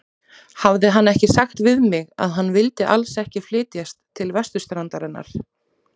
Hafði hann ekki sagt við mig, að hann vildi alls ekki flytjast til vesturstrandarinnar?